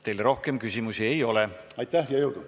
Teile rohkem küsimusi ei ole.